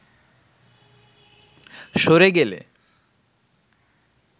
সরে গেলে